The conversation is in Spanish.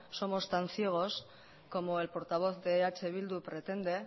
somos tan ciegos como el portavoz de eh bildu pretende